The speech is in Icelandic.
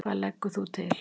Hvað leggur þú til?